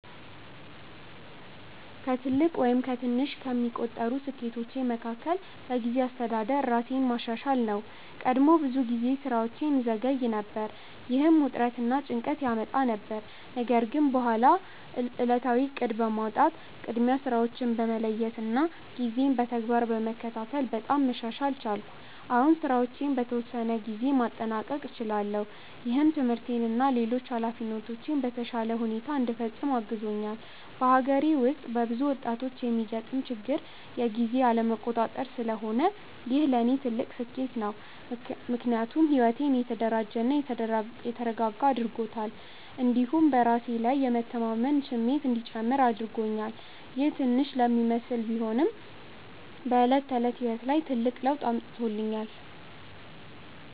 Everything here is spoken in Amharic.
ከትልቅ ወይም ከትንሽ የሚቆጠሩ ስኬቶቼ መካከል በጊዜ አስተዳደር ራሴን ማሻሻል ነው። ቀድሞ ብዙ ጊዜ ስራዎቼን እዘገይ ነበር፣ ይህም ውጥረት እና ጭንቀት ያመጣ ነበር። ነገር ግን በኋላ ዕለታዊ እቅድ በማውጣት፣ ቅድሚያ ስራዎችን በመለየት እና ጊዜን በተግባር በመከታተል በጣም መሻሻል ቻልኩ። አሁን ስራዎቼን በተወሰነ ጊዜ ውስጥ ማጠናቀቅ እችላለሁ፣ ይህም ትምህርቴን እና ሌሎች ኃላፊነቶቼን በተሻለ ሁኔታ እንዲፈጽም አግዞኛል። በአገሬ ውስጥ በብዙ ወጣቶች የሚገጥም ችግር የጊዜ አለመቆጣጠር ስለሆነ ይህ ለእኔ ትልቅ ስኬት ነው። ምክንያቱም ሕይወቴን የተደራጀ እና የተረጋጋ አድርጎታል፣ እንዲሁም በራሴ ላይ የማምን እንዲጨምር አድርጎኛል። ይህ ትንሽ ለሚመስል ቢሆንም በዕለት ተዕለት ሕይወት ላይ ትልቅ ለውጥ አምጥቶኛል።